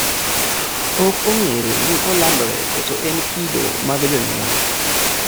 Okong'ere ni olandore koso en kido mag jonyuol